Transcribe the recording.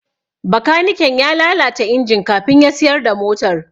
Bakaniken ya lalata injin kafin ya siyar da motar.